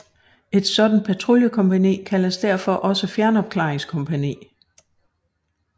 Et sådant patruljekompagni kaldes derfor også fjernopklaringskompagni